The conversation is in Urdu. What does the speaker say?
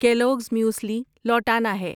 کیلوگز میوسلی لوٹانا ہے